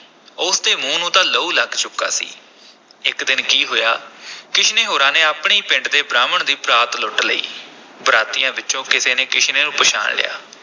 ਉਸ ਦੇ ਮੂੰਹ ਨੂੰ ਤਾਂ ਲਹੂ ਲੱਗ ਚੁੱਕਾ ਸੀ, ਇਕ ਦਿਨ ਕੀ ਹੋਇਆ ਕਿਸ਼ਨੇ ਹੋਰਾਂ ਨੇ ਆਪਣੇ ਹੀ ਪਿੰਡ ਦੇ ਬ੍ਰਾਹਮਣ ਦੀ ਬਰਾਤ ਲੁੱਟ ਲਈ, ਬਰਾਤੀਆਂ ਵਿਚੋਂ ਕਿਸੇ ਨੇ ਕਿਸ਼ਨੇ ਨੂੰ ਪਛਾਣ ਲਿਆ।